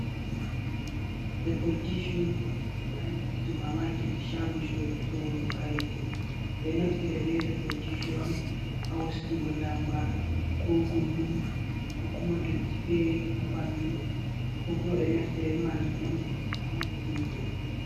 Leppol tichu ha nder supermarket chago sho sorugo kareji. Ɓe naftira be leppol ticchu on ha wostugo ndamba, ko gulɗum, ko kuma dotti feere ha ɓandu, ko kuma ɓe naftira be majum on ha mumturgo.